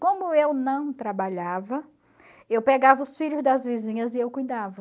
Como eu não trabalhava, eu pegava os filhos das vizinhas e eu cuidava.